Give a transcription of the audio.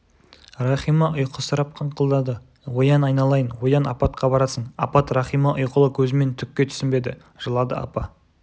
рахима ұйқысырап қыңқылдады оян айналайын оян апатқа барасың апат рахима ұйқылы көзімен түкке түсінбеді жылады апа